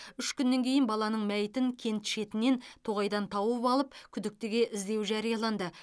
үш күннен кейін баланың мәйітін кент шетінен тоғайдан тауып алып күдіктіге іздеу жарияланды